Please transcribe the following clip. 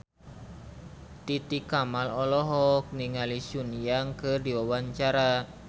Titi Kamal olohok ningali Sun Yang keur diwawancara